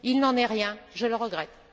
il n'en est rien, je le regrette.